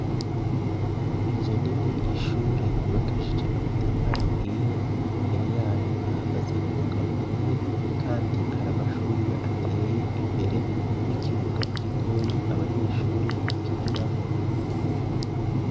Inzu nini y'ishure yubakishije amatafari ahiye, imbere yayo hahagaze umugabo umwe kandi hari amashugwe ateye imbere n'ikibuga gitoyi abanyeshure bakiniramwo.